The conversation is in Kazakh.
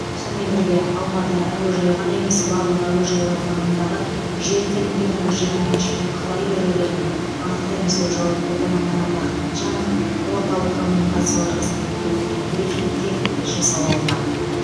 сонымен бірге алматы әуежайы ғана емес барлық әуежайлар маңындағы жер телімдерінің жеке меншікке қалай берілгенін анықтаймыз деп жауап берді марат ахметжанов орталық коммуникациялар қызметінде өткен брифингте тілші сауалына